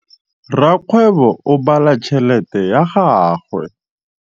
Rakgwêbô o bala tšheletê ya gagwe.